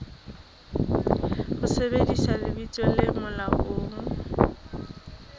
ho sebedisa lebitso le molaong